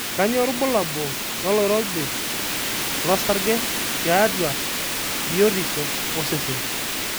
kanyio irbulabul loloirobi lo aarge tiatua biotisho oseseen